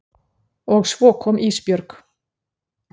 Og svo kom Ísbjörg.